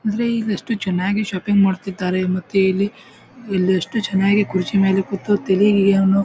ಆದ್ರೆ ಇಲ್ಲಿ ಎಷ್ಟು ಚೆನ್ನಾಗಿ ಶಾಪಿಂಗ್ ಮಾಡ್ತಾಇದ್ದಾರೆ ಮತ್ತೆ ಇಲ್ಲಿ ಇಲ್ಲಿ ಎಷ್ಟು ಚೆನ್ನಾಗಿ ಕುರ್ಚಿ ಮೇಲೆ ಕೂತು ತಳಿಯನು--